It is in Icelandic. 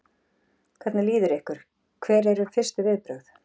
Hvernig líður ykkur, hver eru fyrstu viðbrögð?